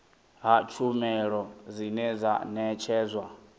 ha tshumelo dzine dza ṋetshedzwa